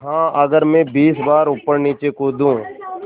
हाँ अगर मैं बीस बार ऊपरनीचे कूदूँ